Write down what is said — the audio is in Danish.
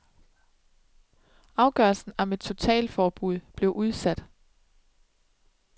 Afgørelsen om et totalforbud blev udsat.